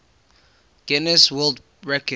guinness world record